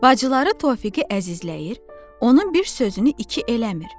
Bacıları Tofiği əzizləyir, onun bir sözünü iki eləmir.